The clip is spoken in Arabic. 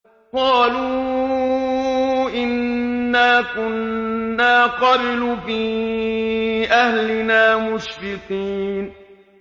قَالُوا إِنَّا كُنَّا قَبْلُ فِي أَهْلِنَا مُشْفِقِينَ